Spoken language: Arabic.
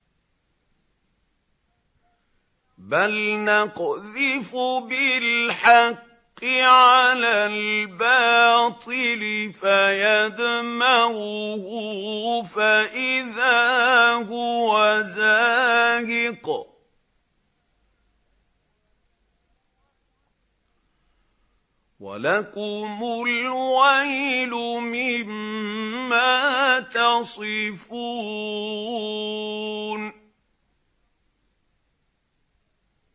بَلْ نَقْذِفُ بِالْحَقِّ عَلَى الْبَاطِلِ فَيَدْمَغُهُ فَإِذَا هُوَ زَاهِقٌ ۚ وَلَكُمُ الْوَيْلُ مِمَّا تَصِفُونَ